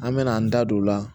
An mɛna an da don o la